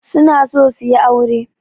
Su na so su yi aure.